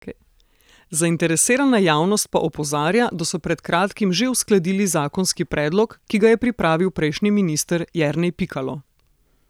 Zainteresirana javnost pa opozarja, da so pred kratkim že uskladili zakonski predlog, ki ga je pripravil prejšnji minister Jernej Pikalo.